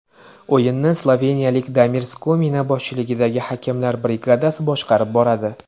O‘yinni sloveniyalik Damir Skomina boshchiligidagi hakamlar brigadasi boshqarib boradi.